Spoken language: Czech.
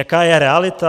Jaká je realita?